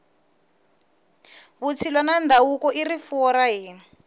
vutshila na ndhavuko i rifuwo ra hina